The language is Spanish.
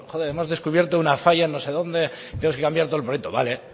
hemos descubierto una falla en no sé donde tienes que cambiar todo el proyecto vale